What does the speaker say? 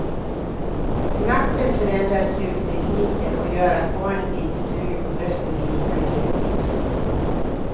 Nappen förändrar sugtekniken och gör att barnet inte suger på bröstet lika effektivt.